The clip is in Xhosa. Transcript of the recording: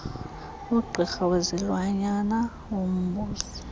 ugqirha wezilwanyana wombuso